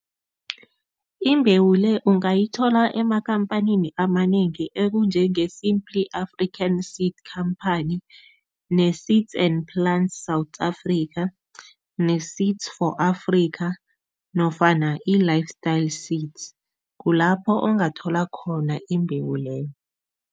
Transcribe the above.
Imbewu le ungayithola emakhamphanini amanengi okunjenge-Simply African Seed Company ne-Seeds and Plants South Africa ne-Seeds for Africa nofana i-Lifestyle Seeds, kulapho ungathola khona imbewu leyo.